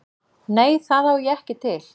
Nei, það á ég ekki til.